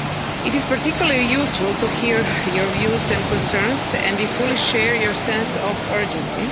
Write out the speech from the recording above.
It is particularly useful to hear your views and concerns and we fully share your sense of urgency.